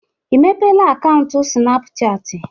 I mepeela akaụntụ Sịnapụchatị?